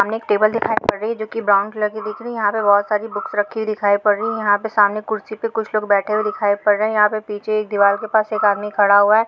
सामने एक टेबल दिखाई पड़ रही है जो की ब्राउन कलर की दिख रही है याहा पे बोहत सारे बूक रखी पड़ रही है यहा पे सामने कुर्सी पे कुछ लोग बैठे दिखाई पड़ रहे है यहापे पीछे एक आदमी दीवार के पास खड़ा हुआ है ।